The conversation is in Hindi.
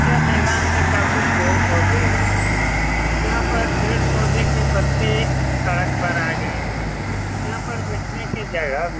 यह मैदान में काफी पेड़-पौधे हैं यहाँ पर पेड़-पौधे के पत्ते सड़क पर आ गए हैं यहाँ पर बैठने की जगह भी --